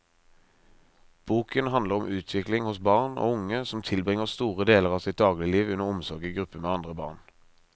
Boken handler om utvikling hos barn og unge som tilbringer store deler av sitt dagligliv under omsorg i gruppe med andre barn.